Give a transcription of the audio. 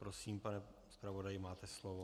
Prosím, pane zpravodaji, máte slovo.